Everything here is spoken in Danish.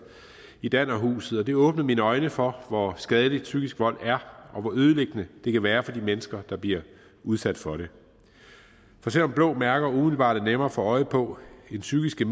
i dannerhuset og det åbnede mine øjne for hvor skadeligt psykisk vold er og hvor ødelæggende det kan være for de mennesker der bliver udsat for det for selv om blå mærker umiddelbart er nemmere at få øje på end psykiske